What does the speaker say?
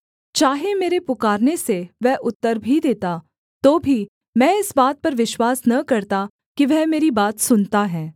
चाहे मेरे पुकारने से वह उत्तर भी देता तो भी मैं इस बात पर विश्वास न करता कि वह मेरी बात सुनता है